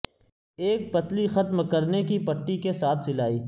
ایک پتلی ختم کرنے کی پٹی کے ساتھ سلائی